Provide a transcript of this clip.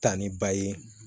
Ta ni ba ye